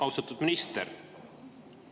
Austatud minister!